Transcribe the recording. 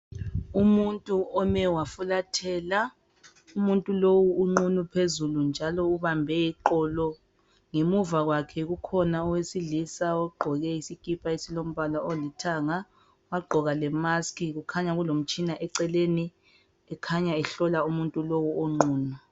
Umuntu ome wafulathela umuntu lowu uqunu phezulu njalo ubambe iqolo ngemuva kwakhe kukhona owesilisa ogqoke isikipa esilombala olithanga wagqoka lemask kukhanya kulomtshina eceleni ekhanya ehlola umuntu lo onqunu.